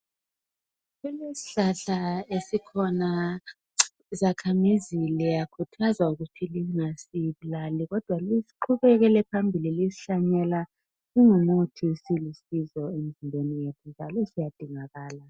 Kulesihlahla sesikhona zakhamizi liyakhuthazwa ukuthi lingazibulali ,liqhubekele phambili lizihlanyela lizambe ngamandla.